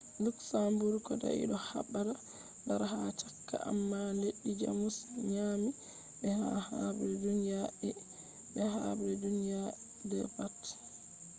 luxembourg kodai do habda dara ha chaka amma leddi jamus nyaami be ha habre duniya i be habre duniya ii pat